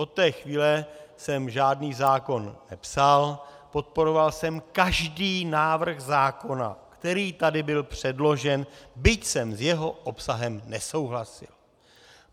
Od té chvíle jsem žádný zákon nepsal, podporoval jsem každý návrh zákona, který tady byl předložen, byť jsem s jeho obsahem nesouhlasil.